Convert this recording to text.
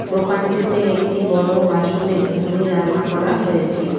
দোকানটিতে একটি বড় বাসনে ঘুগনি রান্না করা হয়েছে।